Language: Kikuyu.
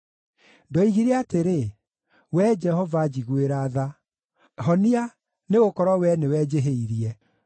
Ndoigire atĩrĩ, “Wee Jehova, njiguĩra tha; honia, nĩgũkorwo Wee nĩwe njĩhĩirie.”